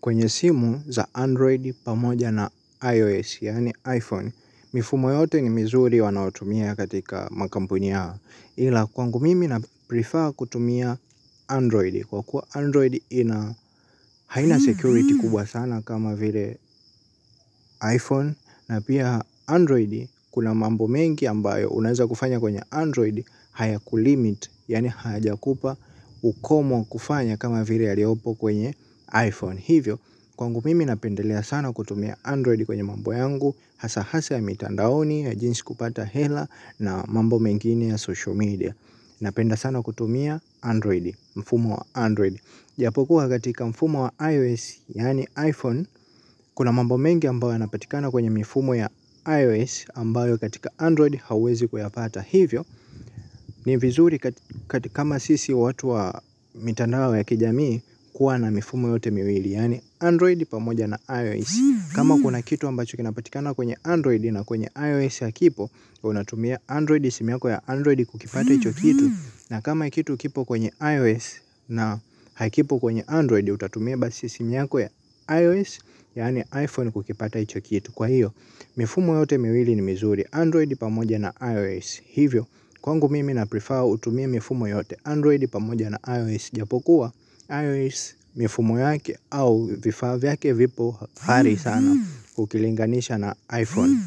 Kwenye simu za Android pamoja na iOS, yaani iPhone, mifumo yote ni mizuri wanaotumia katika makampuni yao. Ila kwangu mimi na prefer kutumia Android. Kwa kuwa Android haina security kubwa sana kama vile iPhone, na pia Android kuna mambo mengi ambayo unaweza kufanya kwenye Android hayakulimit, yaani hayajakupa ukomo kufanya kama vile yaliyopo kwenye iPhone. Hivyo, kwangu mimi napendelea sana kutumia Android kwenye mambo yangu. Hasa hasa ya mitandaoni, ya jinsi kupata hela na mambo mengine ya social media. Napenda sana kutumia Android, mfumo wa Android ijapokuwa katika mfumo wa iOS, yaani iPhone kuna mambo mengi ambayo yanapatikana kwenye mifumo ya iOS ambayo katika Android hauwezi kuyapata hivyo. Ni vizuri kama sisi watu wa mitandao ya kijamii kuwa na mifumo yote miwili. Yaani Android pamoja na iOS. Kama kuna kitu ambacho kinapatikana kwenye Android na kwenye iOS hakipo. Unatumia Android simu yako ya Android kukipata hicho kitu na kama kitu kipo kwenye iOS na hakipo kwenye Android. Utatumia basi simu yako ya iOS. Yaani iPhone kukipata hicho kitu. Kwa hiyo, mifumo yote miwili ni mizuri Android pamoja na iOS. Hivyo, kwangu mimi na prefer utumie mifumo yote Android pamoja na iOS. Japokuwa iOS mifumo yake au vifaa vyake vipo ari sana ukilinganisha na iPhone,